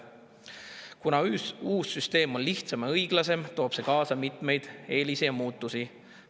Kuna uus süsteem on lihtsam ja õiglasem, toob see kaasa mitmeid eeliseid ja muutusi.